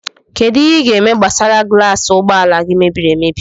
Kedụ ihe i ga -eme maka gulas ụgbọala gị mebiri emebi?